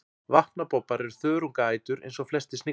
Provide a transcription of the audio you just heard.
vatnabobbar er þörungaætur eins og flestir sniglar